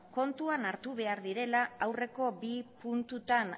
kontuan hartu behar direla aurreko bi puntuetan